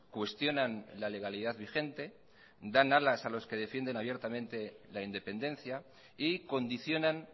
cuestionan la legalidad vigente dan alas a los que defienden abiertamente la independencia y condicionan